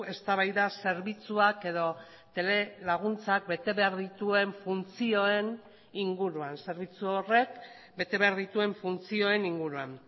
eztabaida zerbitzuak edo telelaguntzak bete behar dituen funtzioen inguruan zerbitzu horrek bete behar dituen funtzioen inguruan